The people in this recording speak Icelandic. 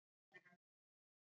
Hvað var stærsti fíllinn stór?